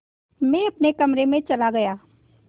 मैं अपने कमरे में चला गया